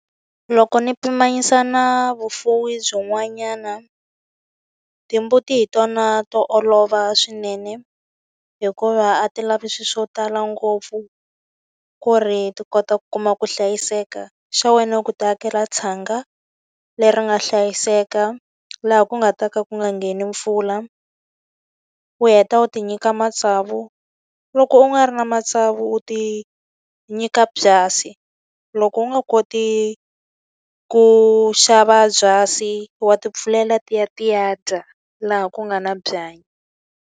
Loko ni pimanyisa na vufuwi byin'wanyana, timbuti hi tona to olova swinene. Hikuva a ti lavi swilo swo tala ngopfu ku ri ti kota ku kuma ku hlayiseka. Xa wena u ku ti akela tshanga leri nga hlayiseka, laha ku nga ta ka ku nga ngheni mpfula. U heta u ti nyika matsavu loko u nga ri na matsavu u ti nyika byasi. Loko u nga koti ku xava byasi, wa tipfulela ti ya ti ya dya laha ku nga na byanyi.